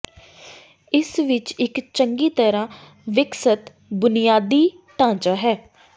ਇਸ ਵਿੱਚ ਇੱਕ ਚੰਗੀ ਤਰਾਂ ਵਿਕਸਤ ਬੁਨਿਆਦੀ ਢਾਂਚਾ ਹੈ